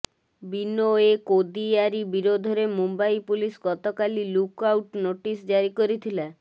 ବିନୋଏ କୋଦିୟାରି ବିରୋଧରେ ମୁମ୍ବାଇ ପୁଲିସ ଗତକାଲି look out notice ଜାରି କରିଥିଲା